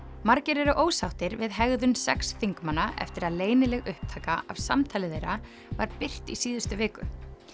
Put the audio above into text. margir eru ósáttir við hegðun sex þingmanna eftir að leynileg upptaka af samtali þeirra var birt í síðustu viku